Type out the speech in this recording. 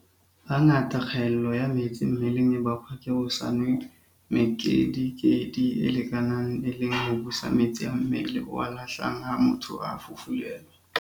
Hangata kgaello ya metsi mmeleng e bakwa ke ho se nwe mekedikedi e lekaneng e le ho busa metsi a mmele o a lahlang ha motho a fufulelwa.